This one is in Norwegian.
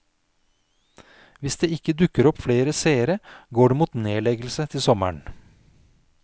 Hvis det ikke dukker opp flere seere går det mot nedleggelse til sommeren.